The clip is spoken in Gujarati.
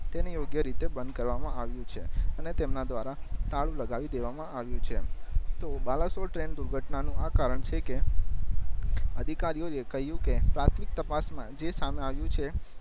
તેને યોગ્ય રીતે બંદ કરવા માં આવ્યું છે અને તેમના દ્વારા તારું લગાવી દેવા માં આવ્યું છે તો બલસોર ટ્રેન દુર્ઘટના નું આ કારણ છે કે અધિકારીઓ કે કહિયું કે પ્રાથમિક તપાસ માં જે સામે આવિયું છે